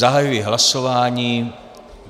Zahajuji hlasování.